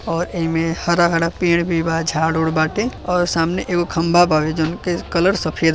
और एमे हरा हरा पेड़ भी बा झाड़ ओड बाटे और सामने एगो खम्भा बा जोवन की कलर सफ़ेद --